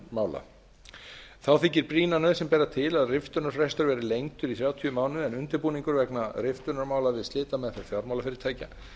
riftunarmála þá þykir brýna nauðsyn bera til að riftunarfrestur verði lengdur í þrjátíu mánuði en undirbúningur vegna riftunarmála við slitameðferð fjármálafyrirtækja